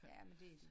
Jamen det